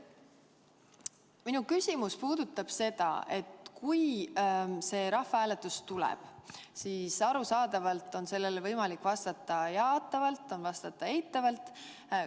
Minu küsimus puudutab seda, et kui see rahvahääletus tuleb, siis arusaadavalt on selle küsimusele võimalik vastata jaatavalt või eitavalt.